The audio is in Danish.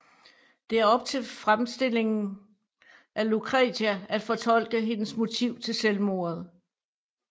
Det er op til fremstillen af Lucretia at fortolke hendes motiv til selvmordet